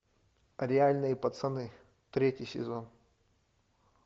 реальные пацаны третий сезон